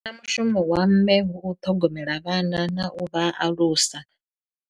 Mushumo wa mme hu u ṱhogomela vhana na u vha alusa.